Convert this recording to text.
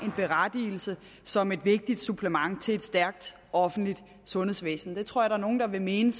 berettigelse som et vigtigt supplement til et stærkt offentligt sundhedsvæsen det tror jeg at nogle vil mene